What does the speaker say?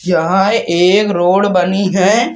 यहाँ एक रोड बनी है।